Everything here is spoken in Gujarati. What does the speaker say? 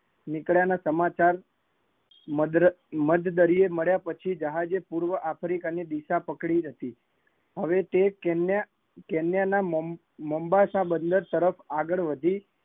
નીકળ્યા ના સમાચાર મધ મધદરિયે મળ્યા પછી જહાજે પૂર્વ આફ્રિકા ની દિશા પકડી હતી, હવે તે કેન્યા ના મામ્બાસહ બને તરફ આગળ વધી